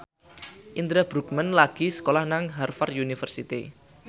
Indra Bruggman lagi sekolah nang Harvard university